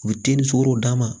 U bɛ tinni sogow d'a ma